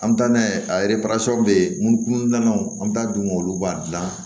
An bɛ taa n'a ye a bɛ yen kun dilannaw an bɛ taa dun olu b'a dilan